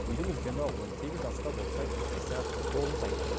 үйдің үлкені он сегіз жаста болса кенжесі тоғыз айлық